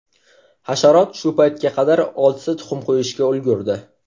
Hasharot shu paytga qadar oltita tuxum qo‘yishga ulgurdi.